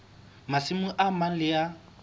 masimo a mang le a